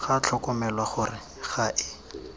ga tlhokomelwa gore ga e